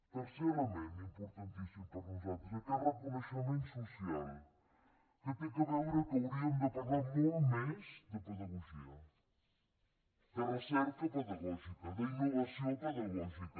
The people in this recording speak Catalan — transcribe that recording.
tercer element importantíssim per a nosaltres aquest reconeixement social que té a veure que hauríem de parlar molt més de pedagogia de recerca pedagògica d’innovació pedagògica